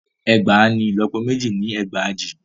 Ẹgbàá ni ìlọ́pọ méjì ni ẹgbàajì.